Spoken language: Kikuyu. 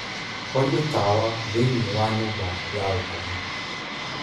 horia tawa thiinie wa nyumba ya gukoma